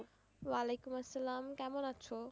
ওয়ালাইকুম আসালাম কেমন আছো?